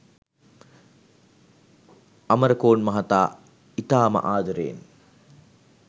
අමරකෝන් මහතා ඉතාම ආදරෙයෙන්